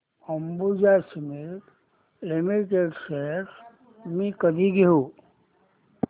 Ambuja cement limited shares मी कधी घेऊ